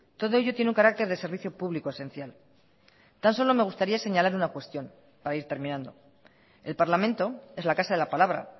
todo ello tiene un carácter de servicio público esencial tan solo me gustaría señalar una cuestión para ir terminando el parlamento es la casa de la palabra